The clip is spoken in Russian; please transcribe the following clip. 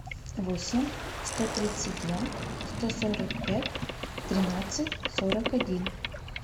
восемь сто тридцать два сто сорок пять тринадцать сорок один